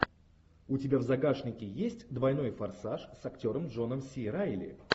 у тебя в загашнике есть двойной форсаж с актером джоном си райли